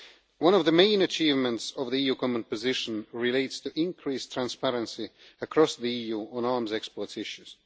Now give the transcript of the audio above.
One of the main achievements of the EU common position relates to increased transparency across the EU on arms export issues.